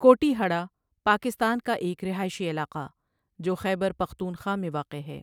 کوٹیہڑہ پاکستان کا ایک رہائشی علاقہ جو خیبر پختونخوا میں واقع ہے۔